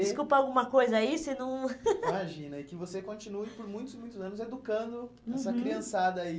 Desculpa alguma coisa aí, se não... Imagina, e que você continue por muitos e muitos anos educando, uhum, essa criançada aí.